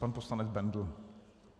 Pan poslanec Bendl.